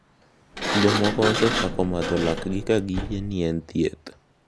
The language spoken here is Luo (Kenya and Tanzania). Jomoko osechako madho lakgi ka giyie ni en thieth